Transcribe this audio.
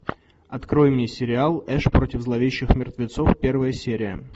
открой мне сериал эш против зловещих мертвецов первая серия